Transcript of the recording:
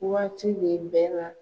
Waati bɛ bɛɛ la.